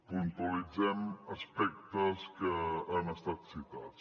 puntualitzem aspectes que han estat citats